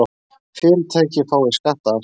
Fyrirtæki fái skattaafslætti